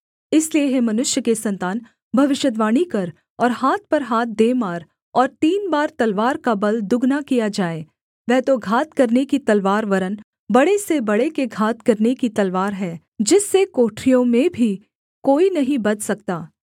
इसलिए हे मनुष्य के सन्तान भविष्यद्वाणी कर और हाथ पर हाथ दे मार और तीन बार तलवार का बल दुगना किया जाए वह तो घात करने की तलवार वरन् बड़े से बड़े के घात करने की तलवार है जिससे कोठरियों में भी कोई नहीं बच सकता